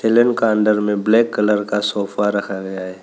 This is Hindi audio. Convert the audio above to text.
लेन का अंदर में ब्लैक कलर का सोफा रखा गया है।